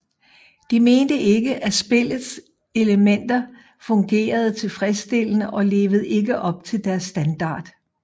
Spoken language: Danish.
De mente ikke at spillets elementer fungerede tilfredsstillende og levede ikke op til deres standard